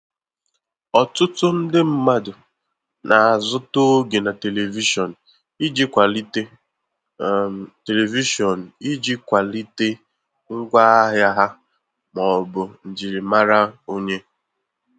Ọtụtụ ndị mmadụ na-azụta oge na televishion iji kwalite televishion iji kwalite ngwa ahịa ha ma ọbụ njirimara onye.